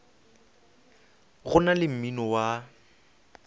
go na le mmino wa